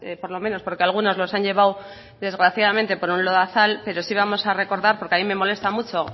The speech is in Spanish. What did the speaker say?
por lo menos porque algunos los han llevado desgraciadamente por un lodazal pero sí vamos a recordar porque a mí me molesta mucha